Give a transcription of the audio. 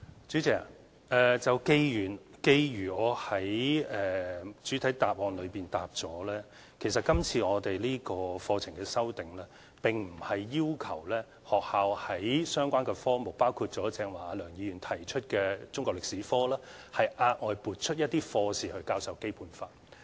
主席，正如我主體答覆所說，這次課程修訂，並不是要求學校在相關科目，包括梁議員剛才提出的中國歷史科，額外撥出一些課時去教授《基本法》。